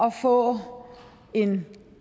at få en